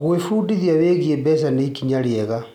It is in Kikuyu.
Gwĩbundithia wĩgiĩ mbeca nĩ ikinya rĩega.